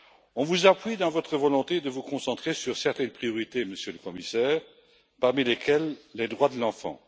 On vous appuie dans votre volonté de vous concentrer sur certaines priorités, Monsieur le Commissaire, parmi lesquelles les droits de l'enfant.